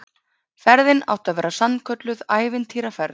Ferðin átti að verða sannkölluð ævintýraferð